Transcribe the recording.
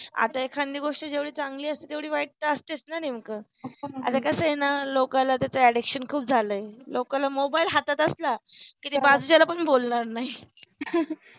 आता एकंधी गोष्टी जेवढी चांगली असते तेवढी वाईट तर असतेच ना नेमकं आता कसहे न लोकाला त्याच addiction खूप झाल आहे लोकाला मोबाइल हातात असला कि ते बाजूच्याला पण बोलणार नाही